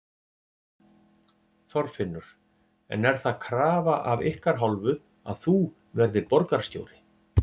Þorfinnur: En er það krafa af ykkar hálfu að þú verðir borgarstjóri?